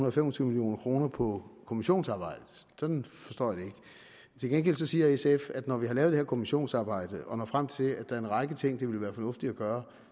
og fem og tyve million kroner på kommissionsarbejdet sådan forstår jeg det ikke til gengæld siger sf at når man har lavet det her kommissionsarbejde og når frem til at der er en række ting det ville være fornuftigt at gøre